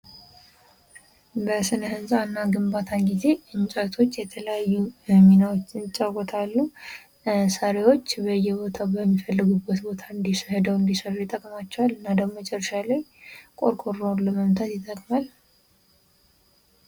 በሥነ ሕንጻ እና ግንባታ ጊዜ እንጨቶች የተለያዩ ሚናዎችን ይጫወታሉ። ሰሪዎች በየቦታው በሚፈልጉበት ቦታ ሄደው እንዲሰፍሩ ይጠቅማቸዋል። እና ደግሞ መጨረሻ ላይ ቆርቆሮውን ለመምታት ይጠቅማል።